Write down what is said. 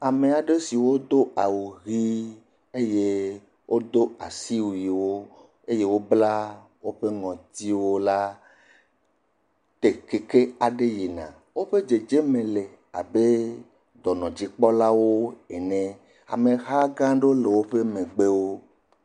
Ame aɖe siwo do awu hee eye wodo asiwuiwo, eye wobla woƒe ŋɔtiwo la te keke aɖe yina, woƒe dzedze me la abe dɔnɔdzikpɔlawo ene, amehã gã aɖewo le woƒe megbewo.